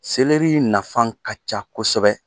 Selɛri in nafan ka ca kosɛbɛ.